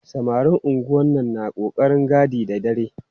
Samarin unguwannu na ƙoƙarin gadi da dare.